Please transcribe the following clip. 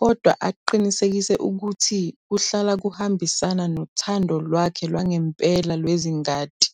kodwa aqinisekise ukuthi kuhlala kuhambisana nothando lwakhe lwangempela lwezingadi.